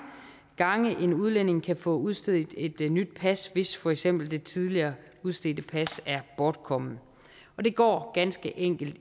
gange en udlænding kan få udstedt et nyt pas hvis for eksempel det tidligere udstedte pas er bortkommet og det går ganske enkelt